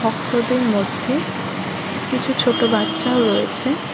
ভক্তদের মধ্যে কি কিছু ছোট বাচ্চাও রয়েছে।